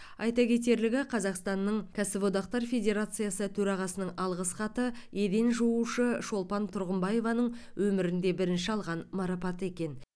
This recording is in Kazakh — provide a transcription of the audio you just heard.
айта кетерлігі қазақстанның кәсіподақтар федерациясы төрағасының алғыс хаты еден жуушы шолпан тұрғымбаеваның өмірінде бірінші алған марапаты екен